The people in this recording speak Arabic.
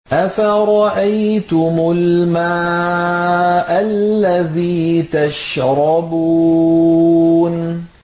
أَفَرَأَيْتُمُ الْمَاءَ الَّذِي تَشْرَبُونَ